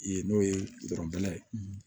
Yen n'o ye ye